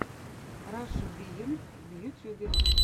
раша биенд в ютьюбе